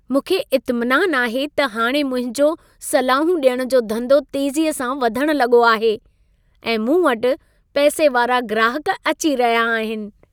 मूंखे इत्मिनान आहे त हाणे मुंहिंजो सलाहूं डि॒यणु जो धंधो तेज़ीअ सां वधण लॻो आहे ऐं मूं वटि पैसे वारा ग्राहक अची रहिया आहिनि।